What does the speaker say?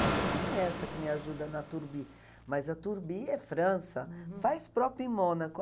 Porque tem essa que me ajuda na Turbi, mas a Turbi é França, faz próprio em Mônaco.